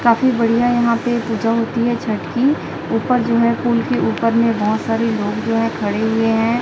काफी बढ़िया यहां पे पूजा होती है छठ की ऊपर जो है पुल के ऊपर में बहुत सारे लोग जो है खड़े हुए हैं।